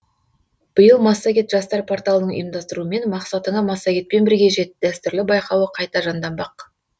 биыл массагет жастар порталының ұйымдастыруымен мақсатыңа массагетпен бірге жет дәстүрлі байқауы қайта жанданбақ